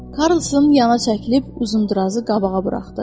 Karlson yana çəkilib Uzundurazı qabağa buraxdı.